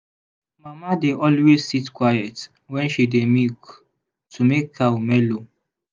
mama dey always sit quiet when she dey milk to make cow mellow.